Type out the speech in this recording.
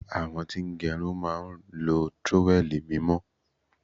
Àwọn tí ń gẹrun máa ń lo trówẹ́ẹ̀lì mímọ́.